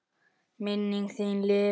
Minning þín lifir.